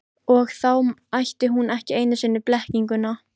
Og þá ætti hún ekki einu sinni blekkinguna.